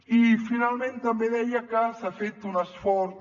i finalment també deia que s’ha fet un esforç